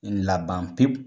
Laban pewu.